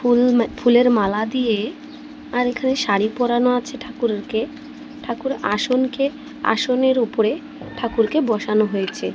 ফুল ম ফুলের মালা দিয়ে আর এখানে শাড়ি পরানো আছে ঠাকুরকে ঠাকুর আসনকে আসনের উপরে ঠাকুরকে বসানো হয়েছে।